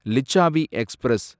Licchavi express